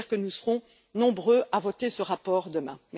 J'espère que nous serons nombreux à voter ce rapport demain.